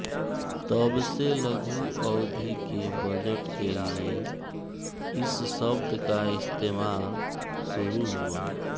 तब से लघु अवधि के बजट के लिए इस शब्द का इस्तेमाल शुरु हुआ